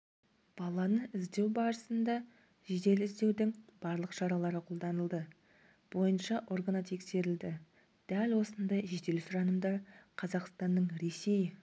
баланы іздеу барысында жедел-іздеудің барлық шаралары қолданылды бойынша органы тексерілді дәл осындай жедел сұранымдар қазақстанның ресей